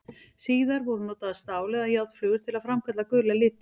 Síðar voru notaðar stál- eða járnflögur til að framkalla gula liti.